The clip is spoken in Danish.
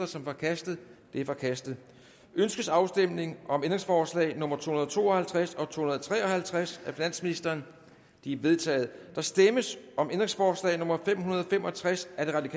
som forkastet det er forkastet ønskes afstemning om ændringsforslag nummer to hundrede og to og halvtreds og to hundrede og tre og halvtreds af finansministeren de er vedtaget der stemmes om ændringsforslag nummer fem hundrede og fem og tres af